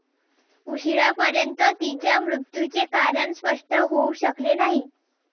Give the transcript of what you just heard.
उशिरापर्यंत तिच्या मृत्युचे कारण स्पष्ट होऊ शकले नाही.